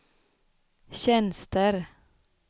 tjänster